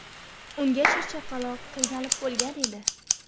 Ungacha chaqaloq qiynalib bo‘lgan edi.